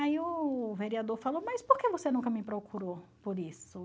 Aí o vereador falou, mas por que você nunca me procurou por isso?